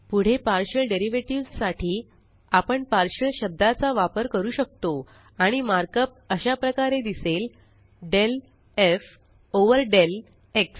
पुढे partial derivative साठी आपण पार्शियल शब्दाचा वापर करू शकतो आणि मार्कअप अशाप्रकारे दिसेल del F over del x